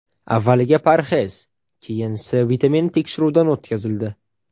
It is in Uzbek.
Avval parhez, keyin C vitamini tekshiruvdan o‘tkazildi.